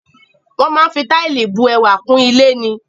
Wọ́n máa ń fi táìlì bu ẹwà kún ilé ni.